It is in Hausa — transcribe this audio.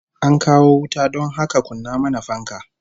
An kawo wuta don haka kunna mana fanka